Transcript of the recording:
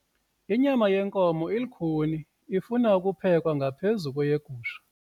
Inyama yenkomo ilukhuni ifuna ukuphekwa ngaphezu kweyegusha.